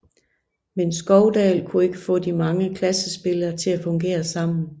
Men Skovdahl kunne ikke få de mange klassespillere til at fungere sammen